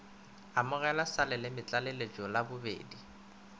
amogelega sa lelemetlaleletšo la bobedi